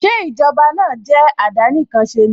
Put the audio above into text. Ṣé Ìjọba náà jẹ́ àdánìkanṣeni?